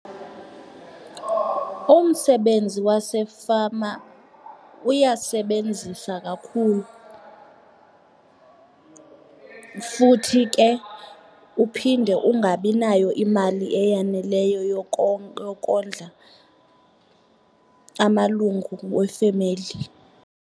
Umsebenzi wasefama uyasebenzisa kakhulu futhi ke uphinde ungabinayo imali eyaneleyo yokondla amalungu wefemeli.